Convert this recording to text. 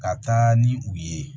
Ka taa ni u ye